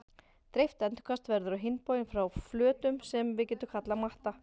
Dreift endurkast verður á hinn bóginn frá flötum sem við getum kallað matta.